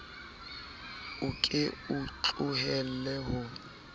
o ke o tlohelle ho